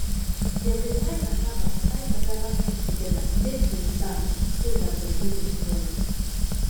dem de tie cassava tie cassava stick together make them stand so that dem no go spoil